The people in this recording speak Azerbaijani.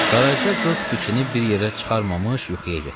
Qaraca qız fikrini bir yerə çıxarmamış yuxuya getdi.